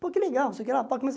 Pô, que legal. Não sei o que lá